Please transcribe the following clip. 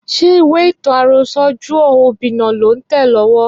Ṣé ìwé ìtàn àrọsọ Juọ Obinna lò ń tẹ̀ lọ́wọ́?